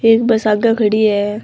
एक बस आगे खड़ी है।